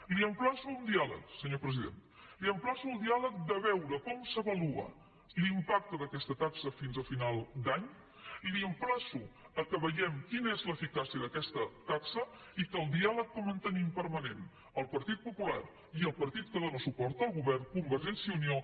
l’emplaço a un diàleg senyor president l’emplaço al diàleg de veure com s’avalua l’ìmpacte d’aquesta taxa fins a final d’any l’emplaço que veiem quina és l’eficàcia d’aquesta taxa i que el diàleg que mantenim permanent el partit popular i el partit que dóna suport al govern convergència i unió